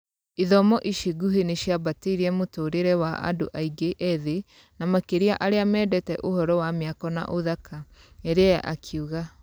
" ĩthomo ici nguhĩ nĩ ciambatĩirie mũtũũrĩre wa andũ aingĩ ethĩ, na makĩria arĩa mendete ũhoro wa mĩako na ũthaka, " ĩria akiuga.